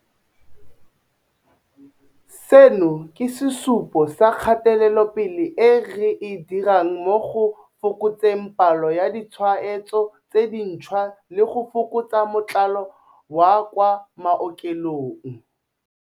Seno ke sesupo sa kgatelopele e re e dirang mo go fokotseng palo ya ditshwaetso tse dintšhwa le go fokotsa motlalo wa kwa maokelong.